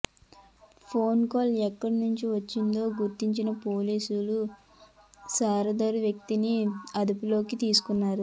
phone call ఎక్కడ నుంచి వచ్చిందో గుర్తించిన పోలీసులు సదరు వ్యక్తిని అదుపులోకి తీసుకున్నారు